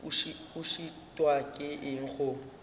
o šitwa ke eng go